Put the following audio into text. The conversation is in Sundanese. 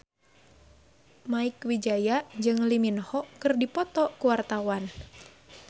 Mieke Wijaya jeung Lee Min Ho keur dipoto ku wartawan